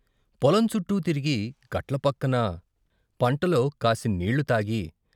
పొలం చుట్టూ తిరిగి, గట్ల పక్కన పంటలో కాసిన్నీళ్ళు తాగి.